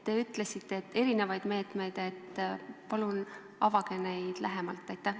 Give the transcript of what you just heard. Te ütlesite, et on erinevaid meetmeid, aga palun avage neid lähemalt!